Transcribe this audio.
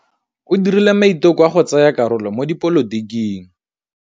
O dirile maitekô a go tsaya karolo mo dipolotiking.